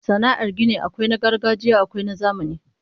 Sana'ar gini akwai na gargajiya akwai na zamani